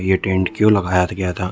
ये टेंट क्यों लगाया थ गया था।